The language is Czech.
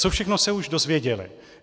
Co všechno se už dozvěděli?